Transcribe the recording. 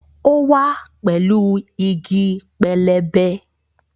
Ó wá pẹ̀lú igi pẹlẹbẹ